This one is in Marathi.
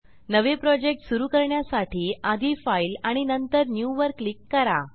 नवे प्रोजेक्ट सुरू करण्यासाठी आधी फाइल आणि नंतर न्यू वर क्लिक करा